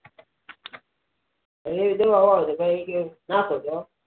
એવી દવાઓ આવે છે કે નાખોતો